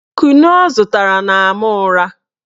Kunu ọ zụtara na-ama ụra